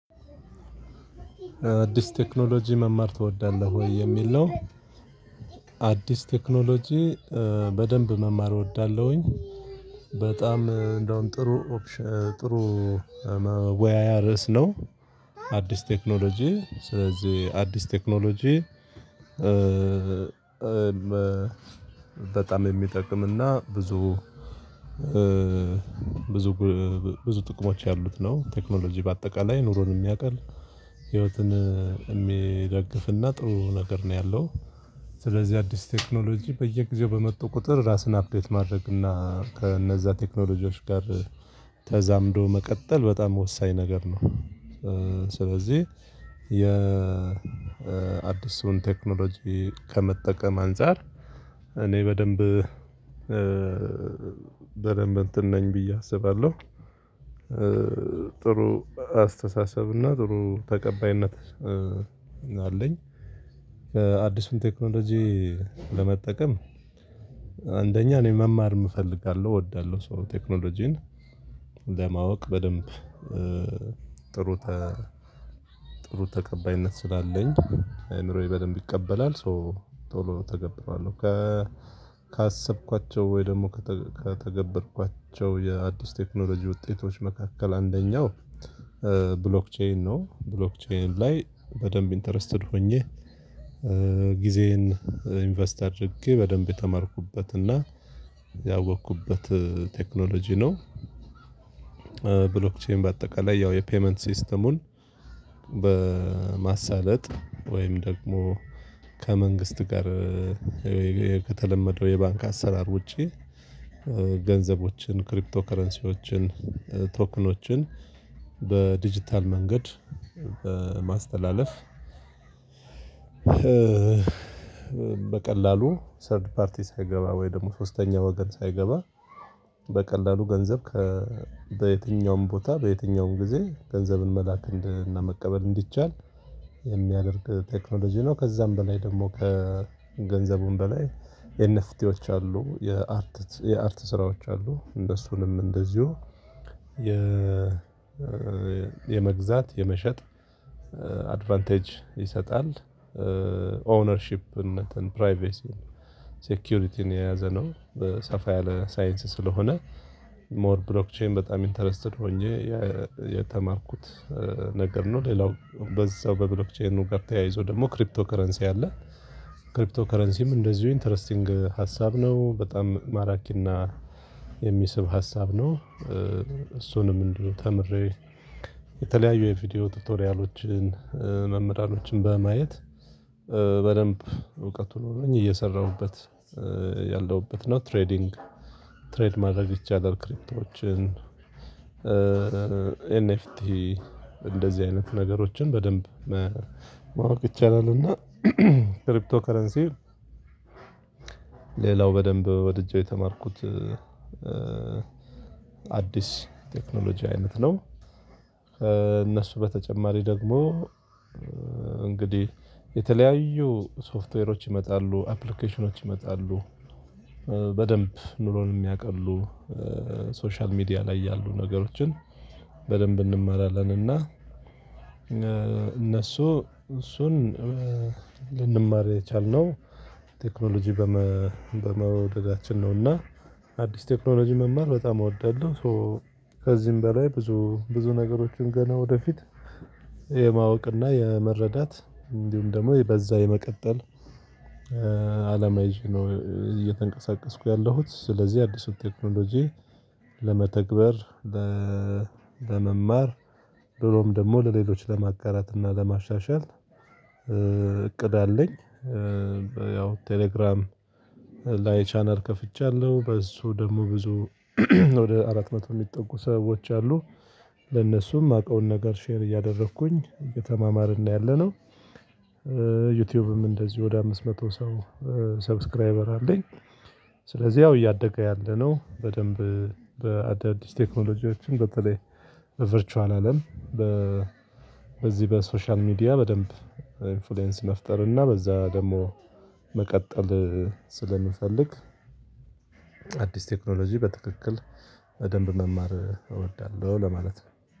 "አዲስ ቴክኖሎጂ መማር ትወዳለህ ወይ?" የሚል ነው። አዲስ ቴክኖሎጂ በደንብ መማር እወዳለሁኝ። በጣም እንደውም ጥሩ ኦፕሽ ጥሩ መወያያ ረስ ነው። አዲስ ቴክኖሎጂ። ስለዚህ አዲስ ቴክኖሎጂ በጣም የሚጠቅም እና ብዙ ጥቅሞች ያሉት ነው። ቴክኖሎጂ በአጠቃላይ ኑሮን የሚያቀል፣ ህይወትን የሚደግፍ እና ጥሩ ነገር ነው ያለው። ስለዚህ አዲስ ቴክኖሎጂ በየጊዜው በመጡ ቁጥር ራስን አፕዴት ማድረግና ከነዛ ቴክኖሎጂዎች ጋር ተዛምዶ መቀጠል በጣም ወሳኝ ነገር ነው። ስለዚህ የ አዲሱን ቴክኖሎጂ ከመጠቀም አንፃር እኔ በደንብ በደንብ እንትን ነይ ብዬ አስባለሁ። ጥሩ አስተሳሰብና ጥሩ ተቀባይነት አለኝ። አዲሱን ቴክኖሎጂ ለመጠቀም አንደኛ እኔ መማርም እፈልጋለሁ እወዳልሁ። ሶ ቴክኖሎጂን ለማወቅ በደንብ ጥሩ ተ ጥሩ ተቀባይነት ስላለኝ አእምሮዬ በደንብ ይቀበላል። ሶ ቶሎ ተቀብዬዋለሁ። ካሰብኳቸው ወይ ደግሞ ከተገበርኳቸው የአዲስ ቴክኖሎጂ ውጤቶች መካከል አንደኛው ብሎክቼይን ነው። ብሎክቼይን ላይ በደንብ ኢንተረስተድ ሆኜ ጊዜዬን ኢንቨስት አድርጌ፣ በደንብ የተማርኩበትና ያወቅኩበት ቴክኖሎጂ ነው። ብሎክቼን በአጠቃላይ ያው የፐይመንት ሲስተሙን በማሳለጥ ወይም ደግሞ ከመንግስት ጋር ከተለመደው የባንክ አሰራር ውጪ ገንዘቦችን ክሪፕቶ ከረንሲዎችን ቶክኖችን በዲጂታል መንገድ በማስተላለፍ በቀላሉ ሰርድ ፓርቲ ሳይገባ ወይም ደግሞ ሶስተኛ ወገን ሳይገባ በቀላሉ ገንዘብ ከ በይትኛውም ቦታ በየትኛውም ጊዜ ገንዘብን መላክ እንድ እና መቀበል እንዲቻል የሚያደርግ ቴክኖሎጂ ነው ከዛም በላይ ደግሞ ከገንዘቡም በላይ የነፍቲዎች አሉ የአርት የአርት ስራዎች አሉ፤ እነሱንም እንደዚሁ የመግዛት የመሸጥ አድቫንቴጅ ይሰጣል። ኦውነርሺፕነትን፣ ፕራይቬሲን፣ ሴኩሪቲን የያዘ ነው። ሰፋ ያለ ሳይንስ ስለሆነ ሞር ብሎክቼይን በጣም ኢንተረስቲድ ሆኜ የተማርኩት ነገር ነው። ሌላው በዛው በብሎክቼይኑ ጋር ተያይዞ ደግሞ ክሪፕቶ ከረንሲ አለ። ክሪፕቶ ከረንሲም እንደዚሁ ኢንተረስቲንግ ሀሳብ ነው። በጣም ማራኪና የሚስብ ሀሳብ ነው። እሱንም እንዲሁ ተምሬ፣ የተለያዩ የቪዲዮ ቱቶሪያሎችን፣ መምህራኖችን በማየት በደንብ እውቀቱ ኖሮኝ እየሰራሁበት ያለሁበት ነው። ትሬዲንግ ትሬድ ማድረግ ይቻላል ክሪፕቶዎችን፤ ኤንኤፍቲ እንደዚህ አይነት ነገሮችን በደንብ መ ማወቅ ይቻላል፤ እና ክሪፕቶ ከረንሲ ሌላው በደንብ ወድጄው የተማርኩት አዲስ ቴክኖሎጂ አይነት ነው። ከነሱ በተጨማሪ ደግሞ እንግዲህ የተለያዩ ሶፍትዌሮች ይመጣሉ፣ አፕሊኬሽኖች ይመጣሉ። በደንብ ኑሮን የሚያቀሉ ሶሻል ሚዲያ ላይ ያሉ ነገሮችን በደንብ እንማራለን እና እነሱ እሱን ልንማር የቻልነው ቴክኖሎጂ በመ በመውደዳችን ነው እና አዲስ ቴክኖሎጂ መማር በጣም እወዳልሁ። ሶ ከዚህም በላይ ብዙ ብዙ ነገሮችን ገና ወደፊት የማወቅ እና የመረዳት እንዲሁም ደግሞ የ በዛው የመቀጠል አላማ ይዜ ነው እየተንቀሳቀስኩ ያለሁት። ስለዚህ አዲሱን ቴክኖሎጂ ለመተግበር ለመማር ብሎም ደግሞ ለሌሎች ለማጋራትና ለማሻሻል እቅድ አለኝ። ያው ቴሌግራም ላይ ቻናል ከፍቺያለሁ፣ በሱ ደግሞ ብዙ ወደ አራት መቶ የሚጠጉ ሰዎች አሉ ለነሱ የማቀውን ነገር ሼር እያደረኩኝ እየተማማርን ነው ያለነው። ዩትዩብም እንደዚሁ ወደ አምስት መቶ ሰው ሰብስክራይበር አለኝ። ስለዚህ ያው እያደገ ያለ ነው። በደንብ በአዳዲስ ቴክኖሎጂዎችም በተለይ በቨርቿል አለም በ በዚህ በሶሻል ሚዲያ በደንብ ኢንፍሉየንስ መፍጠር እና በዛ ደግሞ መቀጠል ስለምፈልግ አዲስ ቴክኖሎጂ በትክክል በደንብ መማር እወዳልሁ ለማለት ነው።